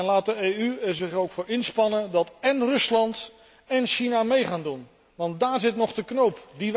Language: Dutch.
Laat de EU er zich ook voor inspannen dat én Rusland én China mee gaan doen, want daar zit nog de knoop.